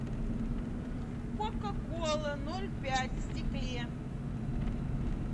кока кола ноль пять в стекле